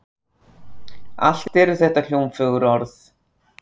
Allt eru þetta hljómfögur orð.